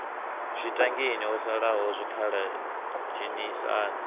zwitangini ho salaho zwikhala dzhenisani